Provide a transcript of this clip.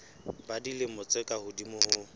ba dilemo tse ka hodimo